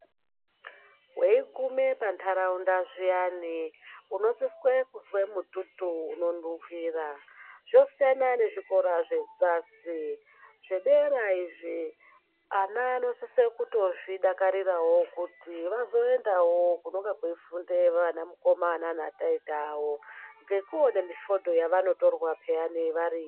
Weigume pantaraunda zviyani unosise kuzwe mututu uninuhwira zvosiyana nezvikora zvedzasi, zvedera izvi ana anosise kutozvidakarirawo kuti vazoendawo kunenge kweifunde vanamukoma nanataita vavo ngekuone mifodho yavanotirwa variyo